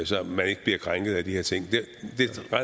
så man ikke bliver krænket af de her ting